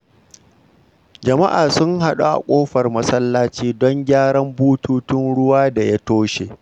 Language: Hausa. Jama’a sun haɗu a kofar masallaci don gyaran bututun ruwa da ya toshe.